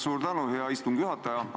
Suur tänu, hea istungi juhataja!